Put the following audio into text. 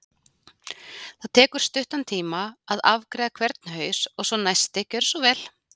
Það tekur stuttan tíma að afgreiða hvern haus og svo næsti, gerið svo vel!